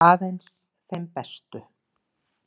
Aðeins þeim bestu.